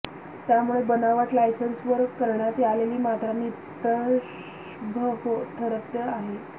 त्यामुळे बनावट लायसन्सवर करण्यात आलेली मात्रा निष्प्रभ ठरत आहे